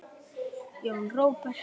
Jón Róbert.